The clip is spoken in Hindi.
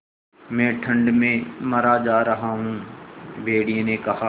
मैं ठंड में मरा जा रहा हूँ भेड़िये ने कहा